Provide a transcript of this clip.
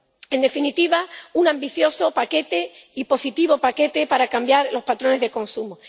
En definitiva, un ambicioso y positivo paquete para cambiar los patrones de consumo.